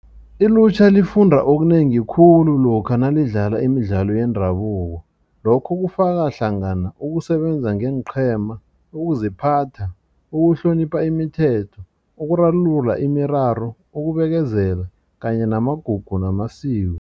Ilutjha lifunda okunengi khulu lokha nalidlalako imidlalo yendabuko lokho kufaka hlangana ukusebenza ngeenqhema ukuziphatha ukuhlonipha imithetho ukurarulula imiraro ukubekezela kanye namagugu namasiko.